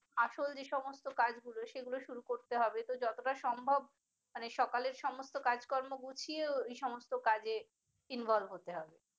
আসল যে সমস্ত কাজগুলো সেগুলো শুরু করতে হবে ত যতটা সম্ভব মানে সকালের সমস্ত কাজকর্ম গুছিয়ে এই সমস্ত কাজে involve হতে হবে।